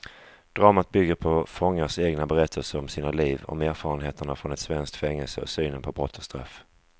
Dramat bygger på fångarnas egna berättelser om sina liv, om erfarenheterna från ett svenskt fängelse och synen på brott och straff.